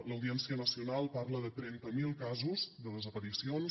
l’audiència nacional parla de trenta mil casos de desaparicions